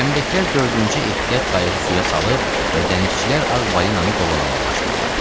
Gəmidəkilər dördüncü ehtiyat qayığı suya salıb və dənizçilər Ağ balinanı qovalamağa başlayıblar.